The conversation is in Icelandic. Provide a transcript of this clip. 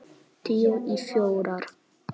Tíu í fjórar.